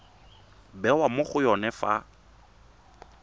bewa mo go yone fa